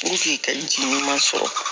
ka ji ɲuman sɔrɔ